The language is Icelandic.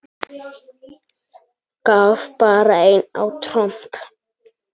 Gaf bara einn á tromp!